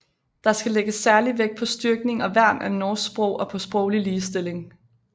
Der skal lægges særlig vægt på styrkning og værn af norsk sprog og på sproglig ligestilling